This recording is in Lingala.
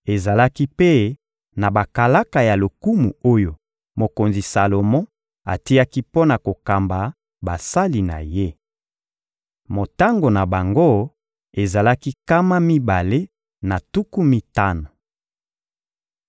Ezalaki mpe na bakalaka ya lokumu oyo mokonzi Salomo atiaki mpo na kokamba basali na ye. Motango na bango ezalaki nkama mibale na tuku mitano.